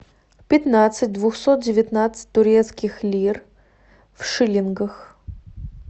пятнадцать двухсот девятнадцать турецких лир в шиллингах